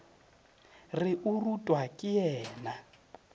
re o rutwa ke yena